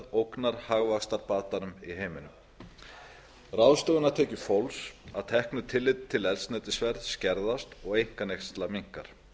ógnar hagvaxtarbatanum í heiminum ráðstöfunartekjur fólks að teknu tilliti til eldsneytisverðs skerðast og einkaneysla minnkar